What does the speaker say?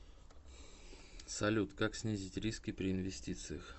салют как снизить риски при инвестициях